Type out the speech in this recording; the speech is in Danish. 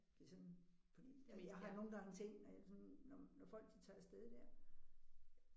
Det er sådan fordi at jeg har nogle gange tænkt når jeg sådan når når folk de tager afsted der